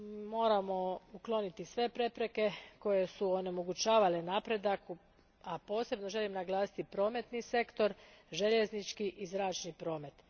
Moramo ukloniti sve prepreke koje su onemogućavale napredak, a posebno želim naglasiti prometni sektor, željeznički i zračni promet.